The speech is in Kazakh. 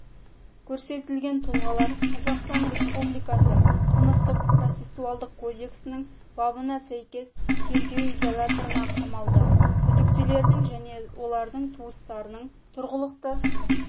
көрсетілген тұлғалар қазақстан республикасы қылмыстық-процессуалдық кодексінің бабына сәйкес тергеу изоляторына қамалды күдіктілердің және олардың туыстарының тұрғылықты